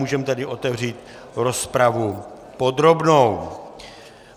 Můžeme tedy otevřít rozpravu podrobnou.